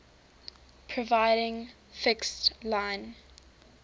providing fixed line